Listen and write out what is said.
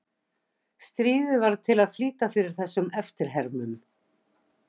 Stríðið varð til að flýta fyrir þessum eftirhermum.